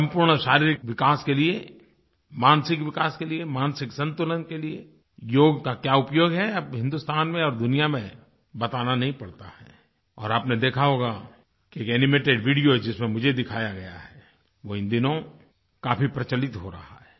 सम्पूर्ण शारीरिक विकास के लिए मानसिक विकास के लिए मानसिक संतुलन के लिए योग का क्या उपयोग है अब हिन्दुस्तान में और दुनिया में बताना नहीं पड़ता है और आपने देखा होगा कि एक एनिमेटेड वीडियो जिसमें मुझे दिखाया गया है वो इन दिनों काफ़ी प्रचलित हो रहा है